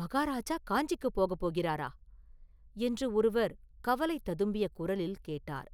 “மகாராஜா காஞ்சிக்குப் போகப் போகிறாரா?” என்று ஒருவர் கவலை ததும்பிய குரலில் கேட்டார்.